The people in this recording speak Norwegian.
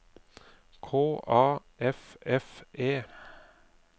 K A F F E